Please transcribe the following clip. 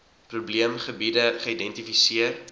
probeem gebiede geïdentifiseer